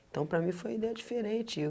Então, para mim foi ideia diferente.